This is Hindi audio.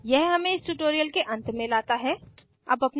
यह हमें इस tutorial के अंत में लाता है